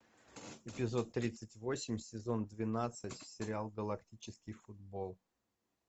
эпизод тридцать восемь сезон двенадцать сериал галактический футбол